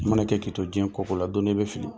Mana kɛ kito diɲɛ kɔko la don dɔ i bɛ fili.